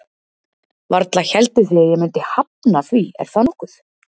Varla hélduð þið að ég myndi hafna því, er það nokkuð?